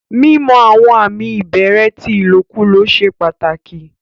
Mímọ̀ àwọn àmì ìbẹ̀rẹ̀ tí ilòkúlọ̀ sẹ́ pàtákì.